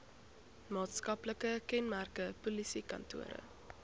maatskaplike kenmerke polisiekantore